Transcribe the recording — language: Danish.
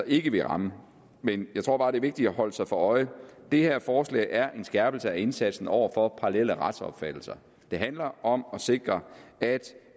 ikke ville ramme jeg tror bare det er vigtigt at holde sig for øje at det her forslag er en skærpelse af indsatsen over for parallelle retsopfattelser det handler om at sikre at